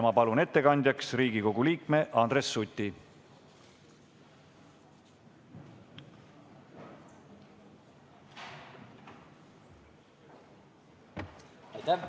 Ma palun ettekandjaks Riigikogu liikme Andres Suti!